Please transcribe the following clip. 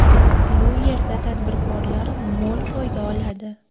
Bu yerda tadbirkorlar mo‘l foyda oladi.